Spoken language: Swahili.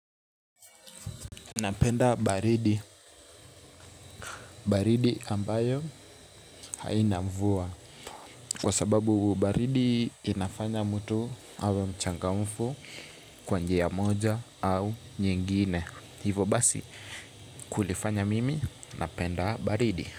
Napenda baridi. Baridi ambayo haina mvua kwa sababu baridi inafanya mtu hawe mchangamfu kwa njia ya moja au nyingine. Hivo basi kulifanya mimi napenda baridi.